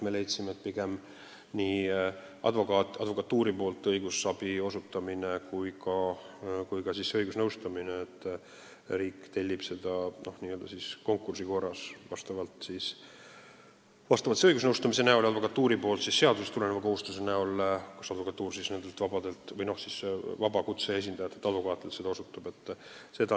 Me leidsime, et parem lahendus on, kui riik tellib advokatuuri poolt õigusabi osutamist ja ka seda õigusnõustamist konkursi korras, lähtudes seadusega ette nähtud kohustusest.